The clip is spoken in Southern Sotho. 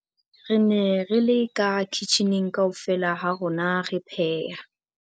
Re ne re le ka kitjhining kaofela ha rona re pheha